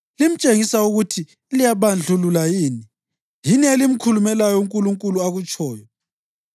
Limtshengisa ukuthi liyabandlulula yini? Yini elimkhulumelayo uNkulunkulu akutshoyo?